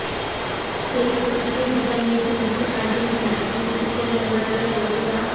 শেষ ষোলো থেকেই বিদায় নিয়েছে মেসির আর্জেন্টিনা এবং ক্রিশ্চিয়ানো রোনাল্ডোর পর্তুগা